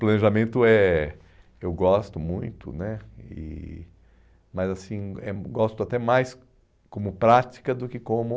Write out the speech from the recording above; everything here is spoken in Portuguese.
Planejamento é eu gosto muito né, e mas assim, eh gosto até mais como prática do que como...